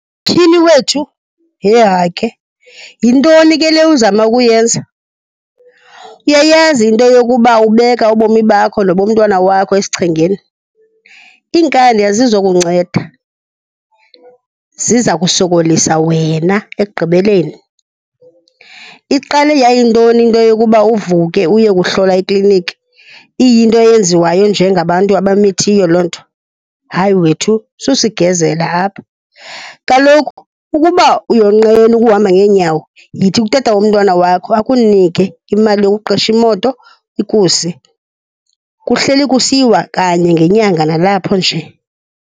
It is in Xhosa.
Tyhini wethu, hehake! Yintoni ke le uzama ukuyenza? Uyayazi into yokuba ubeka ubomi bakho nobomntwana wakho esichengeni? Iinkani azizokunceda, ziza kusokolisa wena ekugqibeleni. Iqale yayintoni into yokuba uvuke uyokuhlolwa ikliniki, iyinto eyenziwayo njengabantu abamithiwe loo nto? Hayi wethu, susigezela apha! Kaloku ukuba uyonqena ukuhamba ngeenyawo, yithi kutata womntwana wakho akunike imali yokuqesha imoto ikuse. Kuhleli kusiyiwa kanye ngenyanga nalapho nje.